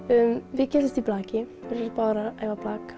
við kynntumst í blaki æfum báðar blak